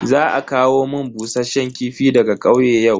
Za a kawo mun bushasshen kifi daga kauye yau.